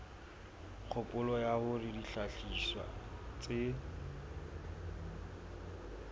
kgopolo ya hore dihlahiswa tse